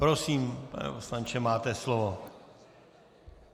Prosím, pane poslanče, máte slovo.